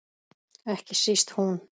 Ekki síst hún.